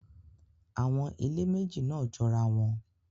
Awọn ile meji naa jorawọn